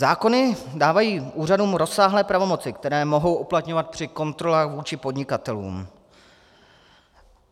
Zákony dávají úřadům rozsáhlé pravomoci, které mohou uplatňovat při kontrolách vůči podnikatelům.